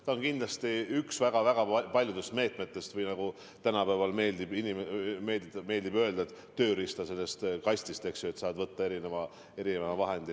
Ta on kindlasti üks väga paljudest meetmetest või nagu tänapäeval meeldib meediale öelda: tööriistakastist saad võtta erinevaid töövahendeid.